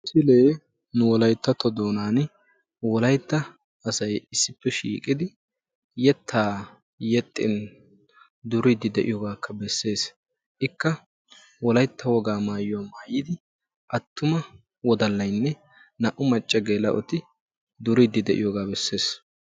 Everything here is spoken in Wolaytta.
Ha misilee nu wolayttatto doonaani wolaytta asay issippe shiiqidi yettaa yexxin duriiddi de'iyogaakka besses. Ikka wolaytta wogaa maayuwa maayidi attuma wodallayinne naa"u macca geel'oti duriiddi de'iyogaa besses.